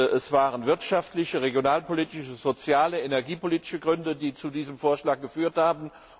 Es waren wirtschaftliche, regionalpolitische, soziale und energiepolitische Gründe, die zu diesem Vorschlag geführt haben.